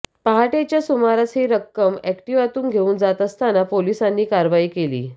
पहाटेच्या सुमारास ही रक्कम अॅक्टिव्हातून घेऊन जात असताना पोलिसांनी कारवाई केली